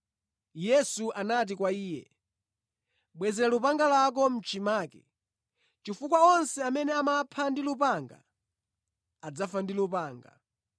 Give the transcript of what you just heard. Yesu anati kwa iye, “Bwezera lupanga lako mʼchimake, chifukwa onse amene amapha ndi lupanga adzafa ndi lupanga.